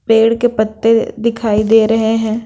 पेड़ के पत्ते दिखाई दे रहे हैं।